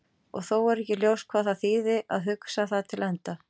Og þó er ekki ljóst hvað það þýðir að hugsa það til enda.